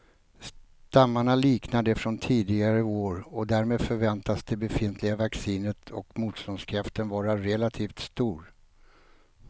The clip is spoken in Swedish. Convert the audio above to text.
Stammarna liknar de från tidigare år och därmed förväntas det befintliga vaccinet och motståndskraften vara relativt stor.